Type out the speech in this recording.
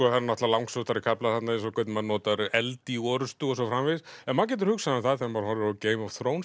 það er langsóttari kaflar þarna hvernig maður notar eld í orrustu og svo framvegis en maður getur hugsað um það þegar maður horfir á Game of